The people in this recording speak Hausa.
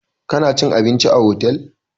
Kana cin abinci a otel!